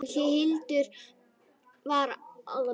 En Heiða var alsæl.